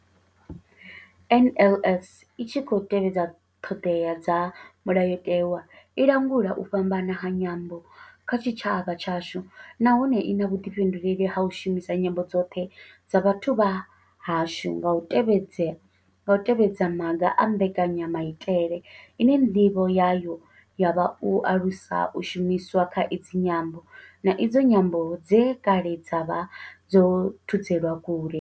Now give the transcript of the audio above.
NLS I tshi khou tevhedza ṱhodea dza Mulayo tewa, i langula u fhambana ha nyambo kha tshitshavha tshashu nahone I na vhuḓifhinduleli ha u shumisa nyambo dzoṱhe dza vhathu vha hashu nga u tevhedza maga a mbekanya maitele ine ndivho yayo ya vha u alusa u shumiswa ha idzi nyambo, na idzo nyambo dze kale dza vha dzo thudzelwa kule.